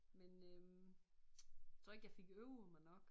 Men øh tror ikke jeg fik øvet mig nok